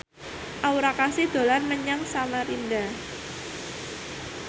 Aura Kasih dolan menyang Samarinda